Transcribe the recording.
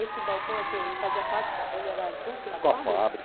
Esse balcão, assim, ele fazia parte da, ele era junto da fábrica? Da fábrica.